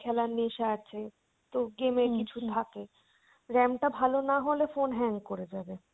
খেলার নেশা আছে, তো game এর কিছু থাকে RAM টা ভালো না হলে phone hang করে যাবে।